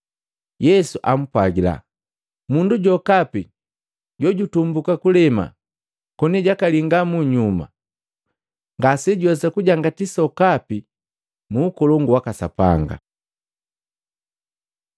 Yesu ampwagila, “Mundu jokapi jojutumbuka kulema koni jakalinga munyuma ngasejuwesa kujangati sokapi mu Ukolongu waka Sapanga.”